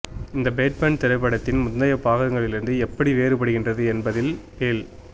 இந்த பேட்மேன் திரைப்படத்தின் முந்தைய பாகங்களிலிருந்து எப்படி வேறுபடுகின்றது என்பதில் பேல்